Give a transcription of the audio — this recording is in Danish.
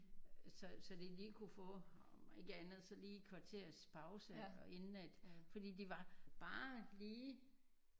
Så så de lige kunne få om ikke andet så lige et kvarters pause inden at fordi det var bare lige